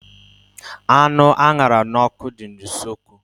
Anụ a ṅara n'ọkụ dị na usekwu.